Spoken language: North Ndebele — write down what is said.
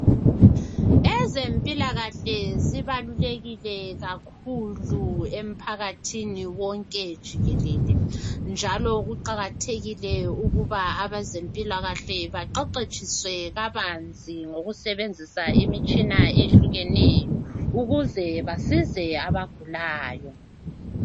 Ezempilakahle zibalulekile emphakathini wonke jikelele .Njalo kuqakathekile ukuba abezempilakahle baqeqetshiswe kabanzi ngokusebenzisa imitshina eyehlukeneyo. Ukuze basize abagulayo .